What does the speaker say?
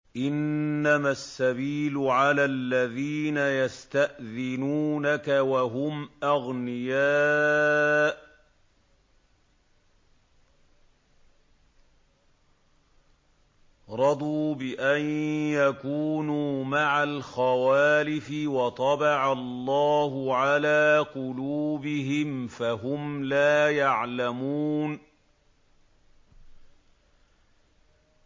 ۞ إِنَّمَا السَّبِيلُ عَلَى الَّذِينَ يَسْتَأْذِنُونَكَ وَهُمْ أَغْنِيَاءُ ۚ رَضُوا بِأَن يَكُونُوا مَعَ الْخَوَالِفِ وَطَبَعَ اللَّهُ عَلَىٰ قُلُوبِهِمْ فَهُمْ لَا يَعْلَمُونَ